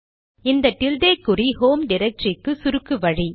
இந்த டில்டே குறி ஹோம் டிரக்டரிக்கு சுருக்கு வழி